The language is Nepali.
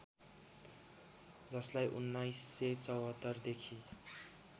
जसलाई १९७४ देखि